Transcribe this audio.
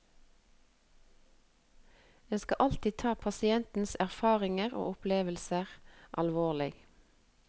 En skal alltid ta pasienters erfaringer og opplevelser alvorlig.